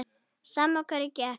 Sama á hverju gekk.